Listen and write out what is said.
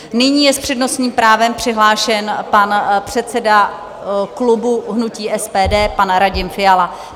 Nyní je s přednostním právem přihlášen pan předseda klubu hnutí SPD pan Radim Fiala.